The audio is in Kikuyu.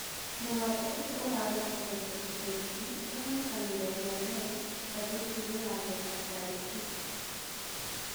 Mũgambo ũcio ũrarekondĩtwo icaikuhĩ ũronekanire rĩambere ngathĩtiĩnĩ ya The Atarĩtĩki.